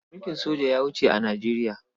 Mulkin soja ya wuce a Nijeriya.